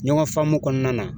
Ɲɔgɔn faamu kɔnɔna na